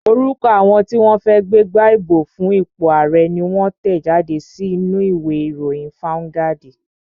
Orúkọ àwọn tí wọ́n fẹ́ gbégbá ìbò fún ipò ààrẹ́ ni wón tẹ̀ jáde sínú u ìwé ìròyìn fáuńgádì